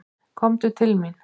Komdu til mín.